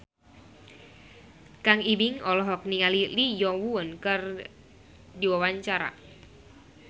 Kang Ibing olohok ningali Lee Yo Won keur diwawancara